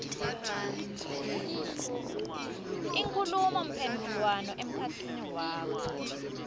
inkhulumomphendvulwano emkhatsini wakho